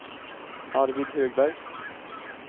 Arvid Högberg